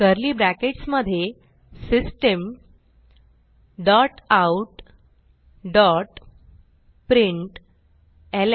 curly brackets मधे system dot out dot println